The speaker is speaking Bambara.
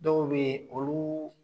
Dɔw bɛ yen olu